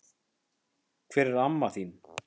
Hvar er amma þín?